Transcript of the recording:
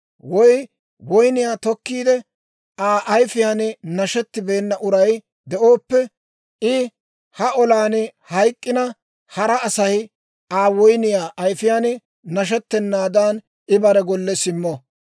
Woy woyniyaa tokkiide, Aa ayifiyaan nashettibeena uray de'ooppe, I ha olan hayk'k'ina, hara Asay Aa woyniyaa ayifiyaan nashettenaadan, I bare golle simmo.